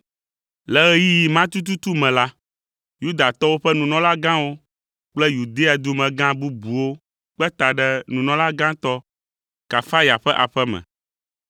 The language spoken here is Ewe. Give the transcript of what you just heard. Le ɣeyiɣi ma tututu me la, Yudatɔwo ƒe nunɔlagãwo kple Yudea dumegã bubuwo kpe ta ɖe nunɔlagãtɔ, Kayafa ƒe aƒe me,